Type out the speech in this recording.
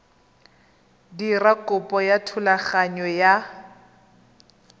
dira kopo ya thulaganyo ya